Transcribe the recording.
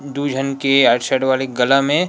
दू झन के आइट साइड वाले गला में